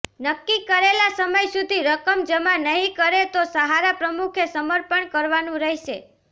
નક્કી કરેલા સમય સુધી રકમ જમા નહીં કરે તો સહારા પ્રમુખે સમર્પણ કરવાનું રહેશે